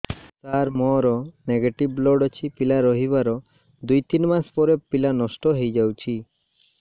ସାର ମୋର negative blood ଅଛି ପିଲା ରହିବାର ଦୁଇ ତିନି ମାସ ପରେ ପିଲା ନଷ୍ଟ ହେଇ ଯାଉଛି